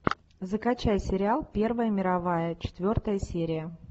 закачай сериал первая мировая четвертая серия